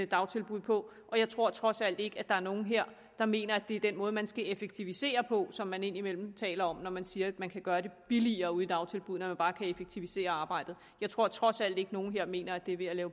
dagtilbud på og jeg tror trods alt ikke at der er nogen her der mener at det er den måde man skal effektivisere på som man indimellem taler om når man siger at man kan gøre det billigere ude i dagtilbuddene altså bare kan effektivisere arbejdet jeg tror trods alt ikke at nogen her mener at det er ved at